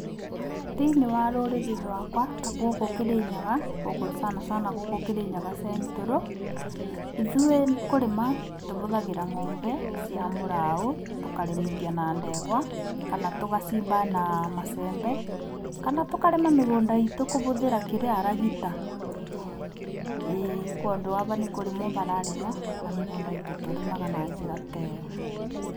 Thĩiniĩ wa rũrĩrĩ rwakwa ta gũkũ Kĩrĩnyaga sana sana gũkũ Kĩrĩnyaga Central, ithuĩ kũrima tũhũthagĩra ng'ombe cia mũraũ, tũkarĩmithia na ndegwa kana tũgacimba na macembe, kana tũkarĩma mĩgũnda itũ kũhũthĩra, kĩrĩa ragita, ĩ tondũ ava nĩkũrĩmwo hararĩmwo na mĩgũnda itũ tũrĩmaga na njĩra ta ĩyo.